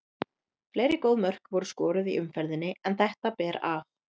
Fleiri góð mörk voru skoruð í umferðinni en þetta ber af.